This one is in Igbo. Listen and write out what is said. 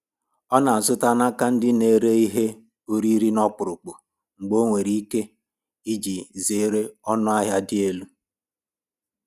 Ọ na-azụta n'aka ndị na - ere ihe oriri n'ọkpụrụkpụ mgbe o nwere ike, iji zere ọnụ ahịa dị elu.